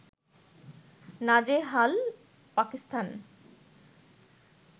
নাজেহাল পাকিস্তান